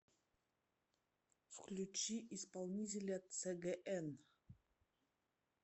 включи исполнителя цгн